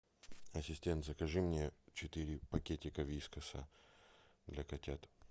ассистент закажи мне четыре пакетика вискаса для котят